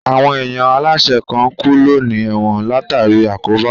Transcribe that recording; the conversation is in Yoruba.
Àwọn èèyàn aláìsẹ̀ kan ń kú lọ ní ẹ̀wọ̀n látàríi àkóbá